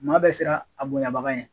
Maa bɛ siran a bonɲabaga yen.